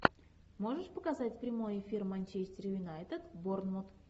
можешь показать прямой эфир манчестер юнайтед борнмут